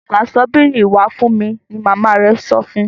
gbà Ṣọ́bìrì wá fún mí! ní mama rẹ sọfún.